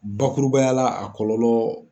Bakurubaya la a kɔlɔlɔ